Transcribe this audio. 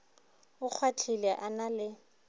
a kgwahlile a na le